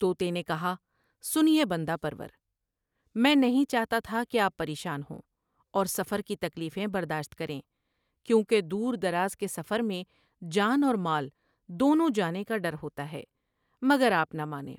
توتے نے کہا '' سینے بندو پرورا میں نہیں چاہتا تھا کہ آپ پریشان ہوں اور سفر کی تکلیفیں برداشت کریں کیونکہ دور دراز کے سفر میں جان اور مال دونوں جانے کا ڈر ہوتا ہے مگر آپ نہ مانے ۔